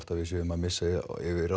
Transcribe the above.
við séum að missa yfirráð